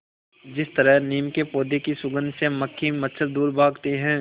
जिस तरह नीम के पौधे की सुगंध से मक्खी मच्छर दूर भागते हैं